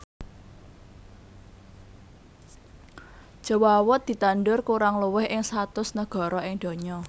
Jawawut ditandur kurang luwih ing satus negara ing donya